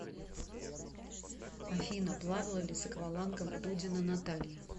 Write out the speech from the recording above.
афина плавала ли с аквалангом дудина наталья